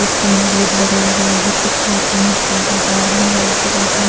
एक sign board लगा हुआ है कुछ हाथ में बाहर में हॉल के बाहर--